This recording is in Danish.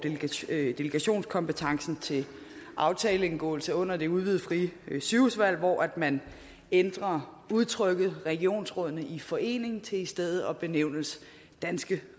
delegationskompetencen til aftaleindgåelse under det udvidede frie sygehusvalg hvor man ændrer udtrykket regionsrådene i forening til i stedet benævnelsen danske